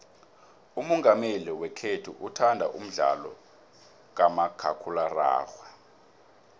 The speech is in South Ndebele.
umongameli wekhethu uthanda umdlalo kamakhakhulararhwe